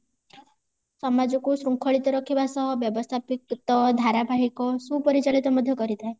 ସମାଜ କୁ ଶୃଙ୍ଖଳିତ ରଖିବା ସହ ବ୍ୟବସ୍ତାପିତ ଧାରାବାହିକ ସୁପରିଚାଳିତ ମଧ୍ୟ କରିଥାଏ